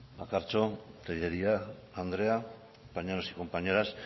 bakartxo tejeria andrea compañeros y compañeras